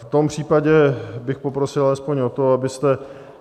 V tom případě bych poprosil alespoň o to, abyste...